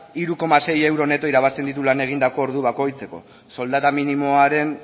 hiru koma sei euro neto irabazten ditu egindako ordu bakoitzeko soldata